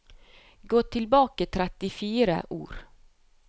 Gå tilbake trettifire ord